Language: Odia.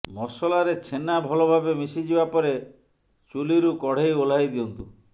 ମସଲାରେ ଛେନା ଭଲ ଭାବେ ମିଶିଯିବା ପରେ ଚୁଲିରୁ କଡ଼େଇ ଓହ୍ଲାଇ ଦିଅନ୍ତୁ